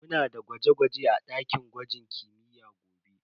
Muna da gwaje-gwaje a dakin gwajin kimiyya gobe.